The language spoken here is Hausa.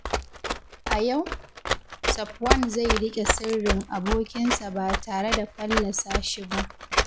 A yau, Safwan zai riƙe sirrin abokinsa ba tare da fallasa shi ba.